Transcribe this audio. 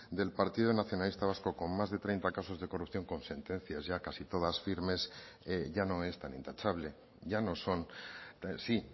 del partido nacionalista vasco con más de treinta casos de corrupción con sentencias ya casi todas firmes ya no es tan intachable ya no son sí